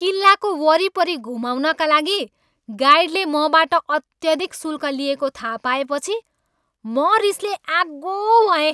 किल्लाको वरिपरि घुमाउनका लागि गाइडले मबाट अत्यधिक शुल्क लिएको थाहा पाएपछि म रिसले आगो भएँ।